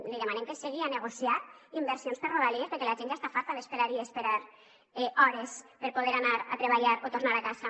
li demanem que s’assegui a negociar inversions per a rodalies perquè la gent ja està farta d’esperar i esperar hores per poder anar a treballar o tornar a casa